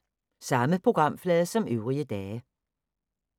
Samme programflade som øvrige dage